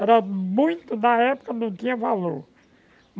Era muito da época, não tinha valor.